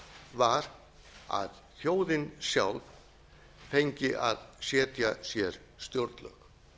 var að þjóðin sjálf fengi að setja sér stjórnlög